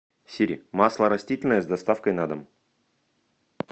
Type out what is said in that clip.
сири масло растительное с доставкой на дом